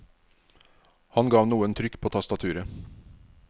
Han gav noen trykk på tastaturet.